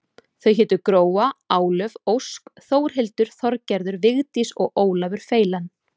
Þau hétu Gróa, Álöf, Ósk, Þórhildur, Þorgerður, Vigdís og Ólafur feilan.